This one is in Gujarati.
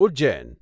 ઉજ્જૈન